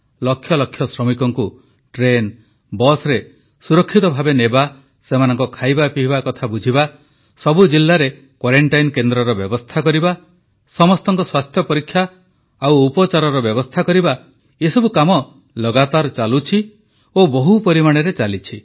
ଲକ୍ଷ ଲକ୍ଷ ଶ୍ରମିକଙ୍କୁ ଟ୍ରେନ ବସରେ ସୁରକ୍ଷିତ ଭାବେ ନେବା ସେମାନଙ୍କ ଖାଇବାପିଇବା କଥା ବୁଝିବା ସବୁ ଜିଲାରେ କ୍ୱାରେଂଟାଇନ୍ କେନ୍ଦ୍ରର ବ୍ୟବସ୍ଥା କରିବା ସମସ୍ତଙ୍କ ସ୍ୱାସ୍ଥ୍ୟ ପରୀକ୍ଷା ଓ ଉପଚାରର ବ୍ୟବସ୍ଥା କରିବା ଏସବୁ କାମ ଲଗାତାର ଚାଲୁଛି ଓ ବହୁ ପରିମାଣରେ ଚାଲିଛି